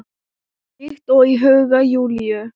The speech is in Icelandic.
Líkt og í huga Júlíu.